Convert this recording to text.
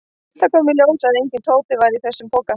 Það kom í ljós að enginn Tóti var í þessum poka.